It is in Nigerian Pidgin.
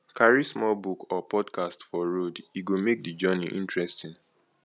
carry small book or podcast for road e go make the journey interesting